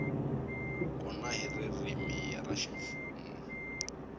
kona hi ririmi ra ximfumo